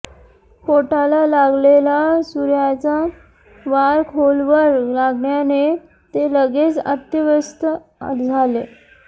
पोटाला लागलेला सुऱयाचा वार खोलवर लागल्याने ते लगेच अत्यवस्थ झाले